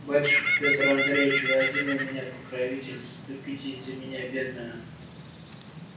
батюшка пётр андреич вы один у меня покровитель заступитесь за меня бедную